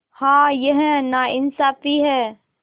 हाँ यह नाइंसाफ़ी है